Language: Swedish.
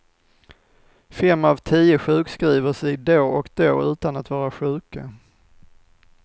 Fem av tio sjukskriver sig då och då utan att vara sjuka.